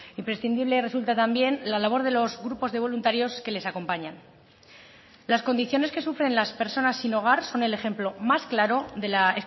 imprescindible resulta también la labor de los grupos de voluntarios que les acompañan las condiciones que sufren las personas sin hogar son el ejemplo más claro de la